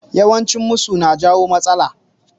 Yawan cin musu na jawo matsala